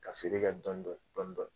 Ka feere kɛ dɔndɔn dɔndɔn